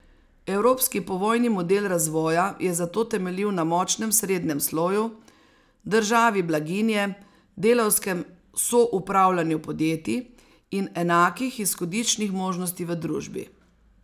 Evropski povojni model razvoja je zato temeljil na močnem srednjem sloju, državi blaginje, delavskem soupravljanju podjetij in enakih izhodiščnih možnosti v družbi.